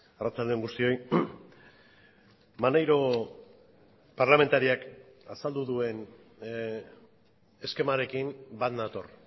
arratsalde on guztioi maneiro parlamentariak azaldu duen eskemarekin bat nator